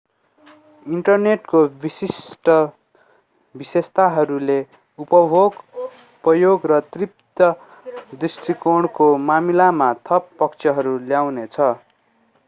इन्टरनेटको विशिष्ट विशेषताहरूले उपयोग र तृप्ति दृष्टिकोणको मामिलामा थप पक्षहरू ल्याउनेछ